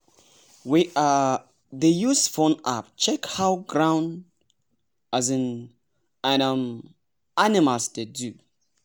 we um dey use phone app check how ground um and um animals dey do.